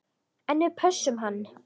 En við pössum hann.